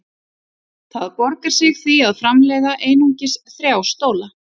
Það borgar sig því að framleiða einungis þrjá stóla.